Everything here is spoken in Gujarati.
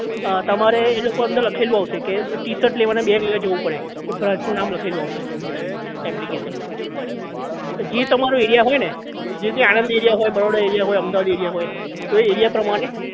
અ તમારે એ લોકો નું અંદર લખેલું આવશે કે ટીશર્ટ લેવાના બે જગ્યા એ જવું પડે એ branch નું નામ લખેલું આવશે અંદર application માં જે જે તમારો area હોય ને જે રીતે આણંદ area હોય બરોડા area હોય અમદાવાદ area હોય તો એ area પ્રમાણે